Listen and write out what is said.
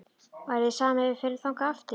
Væri þér sama ef við förum þangað aftur?-